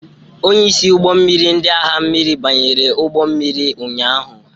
Onye isi ụgbọ mmiri ndị agha mmiri banyere ụgbọ mmiri ụnyahụ.